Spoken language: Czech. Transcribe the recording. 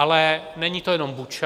Ale není to jenom Buča.